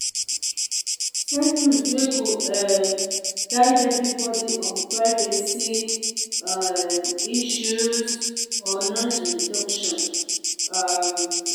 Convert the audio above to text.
set rules wey go um guide everybody on privacy um issues or noise reduction um